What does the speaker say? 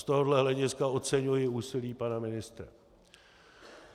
Z tohoto hlediska oceňuji úsilí pana ministra.